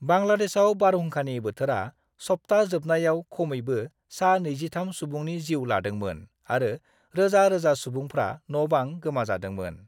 बांलादेशआव बारहुंखानि बोथोरा सप्ता जोबनायाव खमैबो सा-23 सुबुंनि जिउ लादोंमोन आरो रोजा-रोजा सुबुंफ्रा न'-बां गोमाजादोंमोन।